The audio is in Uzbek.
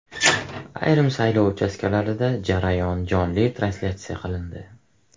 Ayrim saylov uchastkalarida jarayon jonli translyatsiya qilindi .